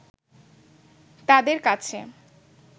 তাদের কাছে